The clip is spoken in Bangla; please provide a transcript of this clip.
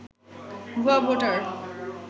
ভুয়া ভোটার